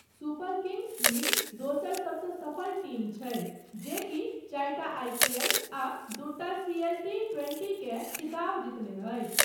Super kings league दोसर सबसँ सफल टीम छै, जेकि चारिटा आईपीएल आ दूटा सीएलटी ट्वेंटी केँ खिताब जीतने अछि।